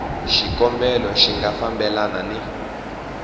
xikombelo xi nga fambelani ni